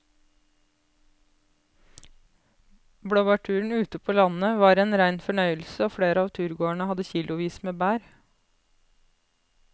Blåbærturen ute på landet var en rein fornøyelse og flere av turgåerene hadde kilosvis med bær.